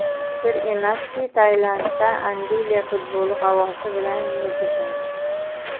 Sir emaski, Tailandda Angliya futboli havosi bilan yashashadi.